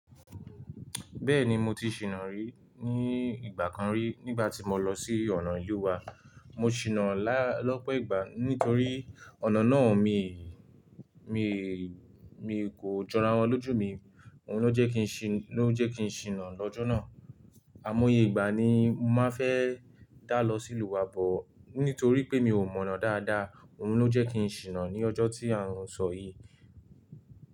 Bẹ́ẹ̀ni mo ti ṣìnà rí ní ìgbà kan rí nígbà tí mo lọ sí ọ̀nà ìlú wa. Mo ṣìnà lọ́pọ̀ ìgbà nítorí ọ̀nà náà mi, mi, mi kò jọra wọn lójú mi. Ohun ló jẹ́ kí n ṣìnà lọ́jọ́ náà. Àimo iye ìgbà ni mo màá fẹ́ dá lọ sí ìlú wa bọ̀ nítorí pé mi ò mọ̀nà dáadáa. Ohun ló jẹ́ kí n ṣìnà ní ọjọ́ tí à ń sọ yìí.